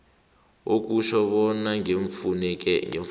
okutjho bona ngeemfuneko